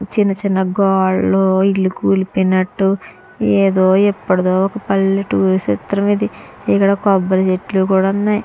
చిన్న చిన్న గోడలు ఇల్లు కూలిపోయినట్టు ఏదో ఏపడిదో ఒక పల్లెటూరి చిత్రం ఇది ఇక్కడ కొబ్బరి చెట్లు కూడా ఉన్నాయి.